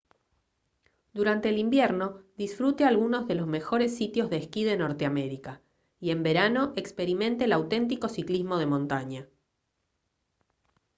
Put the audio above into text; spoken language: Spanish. durante el invierno disfrute algunos de los mejores sitios de esquí de norteamérica y en verano experimente el auténtico ciclismo de montaña